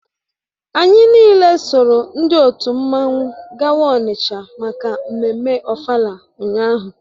Anyị niile soro ndị otu mmanwụ gawa Onitsha maka mmemme ofala ụnyahụ